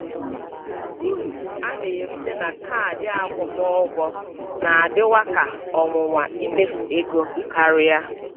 Uru a na-erita na kaadị akwụmụgwọ na-adịwa ka ọnwụnwa imefu ego karịa.